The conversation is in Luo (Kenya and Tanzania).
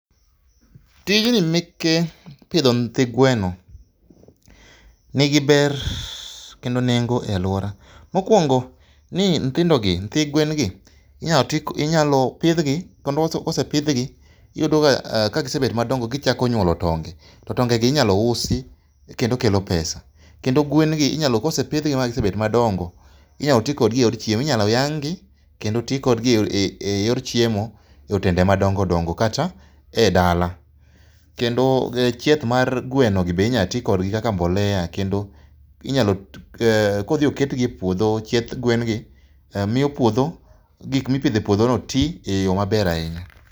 Tijni meke pidho nyithi gweno nigi ber kendo nengo e aluora. Mokuongo ni nyithindo gi, nyithi gwen gi inya tii, inyalo pidhgi kendo ka osepidhgi iyudo ka gisebet madongo to gichako nyuolo tonge to tonge gi inyalo usi kendo kelo pesa. Kendo gwen gi inyalo, kosepidh gi magisebedo madongo inyalo tii kodgi e yor chiemo, inyalo yang' gi kendo tii kodgi e yor chiemo e otende madongo dongo kata e dala. Kendo chith mar gweno gi bende inya tii kodgi kaka mbolea kendo inyalo, kodhi oketgi e puodho chieth gwen gi imiyo puodho, gik mipidho e puodho tii e yoo maber ahinya